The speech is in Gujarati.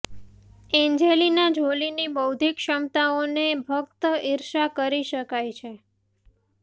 એન્જેલીના જોલીની બૌદ્ધિક ક્ષમતાઓને ફક્ત ઇર્ષા કરી શકાય છે